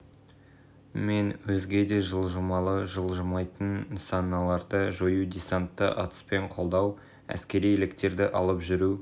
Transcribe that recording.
мен өзге де жылжымалы және жылжымайтын нысаналарды жою десантты атыспен қолдау әскери лектерді алып жүру